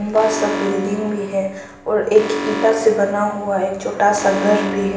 बाहर सब बिल्डिंग भी है और एक ईटा से बना हुआ एक छोटा सा घर भी है।